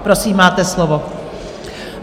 Prosím, máte slovo.